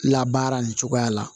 Labaara nin cogoya la